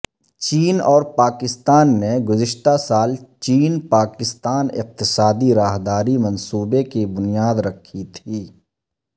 چین اور پاکستان نے گذشتہ سال چین پاکستان اقتصادی راہداری منصوبے کی بنیاد رکھی تھی